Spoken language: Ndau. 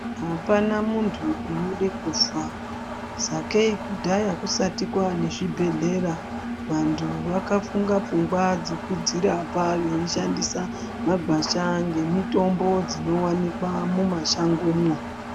Apana muntu anode kufa sakei kudhara kusati kwaane zvibhedhlera antu akafunga funga dzekuzvirapa veishandisa magwasha ngemitombo dzinoonekwa mumasangomo.